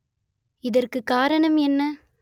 இத‌ற்கு காரணம் என்ன